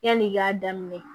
Yanni i k'a daminɛ